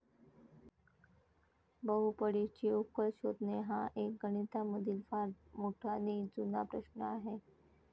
बहुपडीची उकल शोधणे हा एक गणितामधील फार मोठा नी जूना प्रश्न आहे.